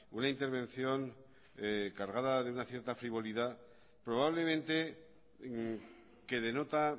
una intervención cargada de una cierta frivolidad probablemente que denota